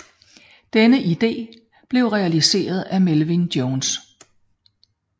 Denne idé blev realiseret af Melvin Jones